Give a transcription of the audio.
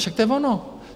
Však to je ono.